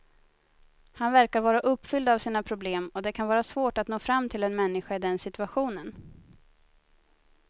Han verkar vara uppfylld av sina problem och det kan vara svårt att nå fram till en människa i den situationen.